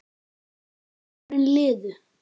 Árin liðu.